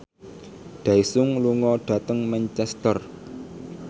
Daesung lunga dhateng Manchester